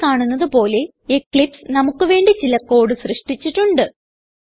ഇവിടെ കാണുന്നത് പോലെ എക്ലിപ്സ് നമുക്ക് വേണ്ടി ചില കോഡ് സൃഷ്ടിച്ചിട്ടുണ്ട്